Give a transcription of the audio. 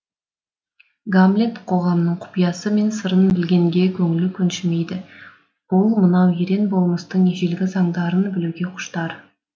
гамлет қоғамның құпиясы мен сырын білгенге көңілі көншімейді ол мынау ерен болмыстың ежелгі заңдарын білуге құштар